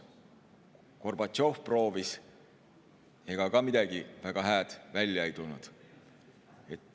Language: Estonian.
Gorbatšov proovis – ega ka midagi väga head välja ei tulnud.